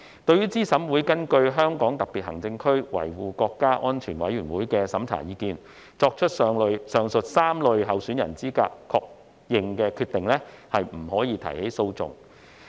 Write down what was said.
對資審會根據香港特別行政區維護國家安全委員會的審查意見書，作出上述3類候選人資格確認的決定，不得提起訴訟。